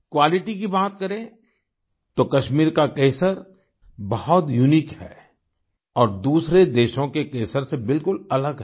quality की बात करें तो कश्मीर का केसर बहुत यूनिक है और दूसरे देशों के केसर से बिलकुल अलग है